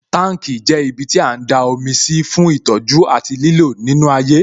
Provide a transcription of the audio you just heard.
Tanki jẹ́ ibiti a ń da omi sí fún ìtọ́jú àti lílò nínú ayé